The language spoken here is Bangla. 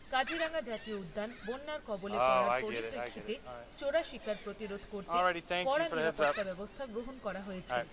কাজিরাঙ্গা জাতীয় উদ্যান বন্যার কবলে পড়ার পরিপ্রেক্ষিতে চোরা শিকার প্রতিরোধ করতে কড়া নিরাপত্তা ব্যবস্থা গ্রহণ করা হয়েছে।